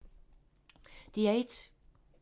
DR1